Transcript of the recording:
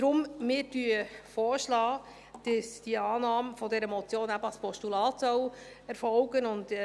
Deshalb schlagen wir vor, dass die Annahme dieser Motion eben als Postulat erfolgen soll.